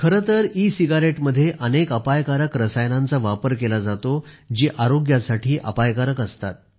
खरे तर सिगारेटमध्ये अनेक अपायकारक रसायनांचा वापर केला जातो जी आरोग्यासाठी अपायकारक असतात